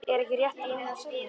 Er ekki rétt að reyna að semja?